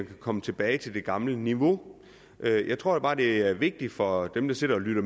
kan komme tilbage til det gamle niveau jeg tror bare det er vigtigt for dem der sidder og lytter